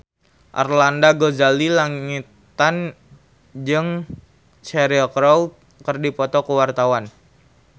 Arlanda Ghazali Langitan jeung Cheryl Crow keur dipoto ku wartawan